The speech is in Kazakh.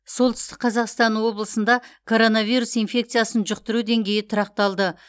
солтүстік қазақстан облысында коронавирус инфекциясын жұқтыру деңгейі тұрақталды